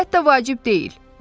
Əlbəttə vacib deyil.